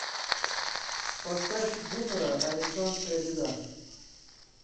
поставь бумера арестанская беда